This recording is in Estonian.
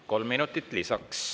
Kolm minutit lisaks.